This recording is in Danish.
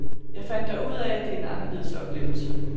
Jeg fandt dog ud af, at det er anderledes oplevelse.